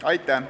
Aitäh!